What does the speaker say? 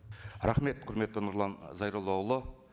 рахмет құрметті нұрлан зайроллаұлы